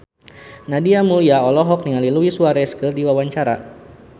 Nadia Mulya olohok ningali Luis Suarez keur diwawancara